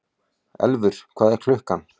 Elfur, hvað er klukkan?